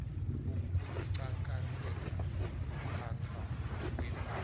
ukuqakatheka kokuphathwa kwepahla